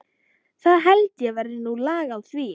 Það held ég verði nú lag á því.